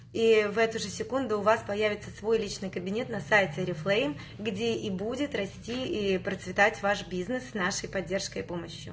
и в эту же секунду у вас появиться свой личный кабинет на сайте орифлейм где и будет расти и процветать ваш бизнес нашей поддержки и помощью